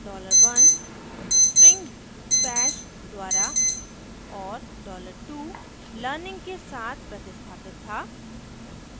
dollar 1 $1 string bash द्वारा और dollar 2 $2 learning के साथ प्रतिस्थापित था